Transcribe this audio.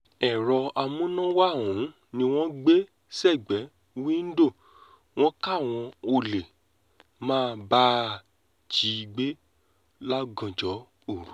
èrò amúnáwá ọ̀hún ni wọ́n gbé sẹ́gbẹ̀ẹ́ wíńdò wọn káwọn olè má bàa jí i gbé lọ́gànjọ́ òru